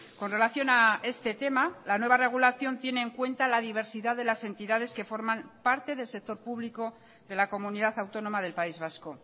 con relación a este tema la nueva regulación tiene en cuenta la diversidad de las entidades que forman parte del sector público de la comunidad autónoma del país vasco